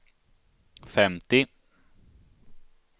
femtio